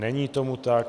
Není tomu tak.